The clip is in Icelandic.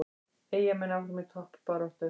Eyjamenn áfram í toppbaráttu